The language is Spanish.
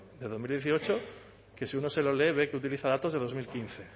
de dos mil dieciocho que si uno se lo lee ve que utiliza datos de dos mil quince